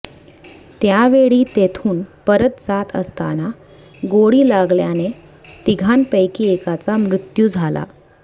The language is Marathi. त्यावेळी तेथून परत जात असताना गोळी लागल्याने तिघांपैकी एकाचा मृत्यू झाला